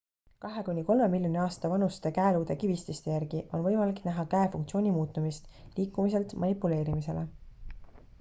kahe kuni kolme miljoni aasta vanuste käeluude kivististe järgi on võimalik näha käe funktsiooni muutumist liikumiselt manipuleerimisele